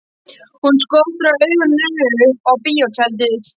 Hún skotraði augunum upp á bíótjaldið.